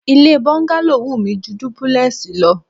Ilé bọ́ńgálò wù mí ju dúpúlẹ́ẹ̀sì lọ